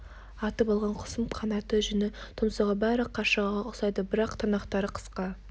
атып алған құсым қанаты жүні тұмсығы бәрі қаршығаға ұқсайды бірақ тырнақтары қысқа